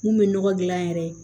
Mun bɛ nɔgɔ dilan yɛrɛ